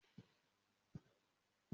Maa lo aspirin fun orififo.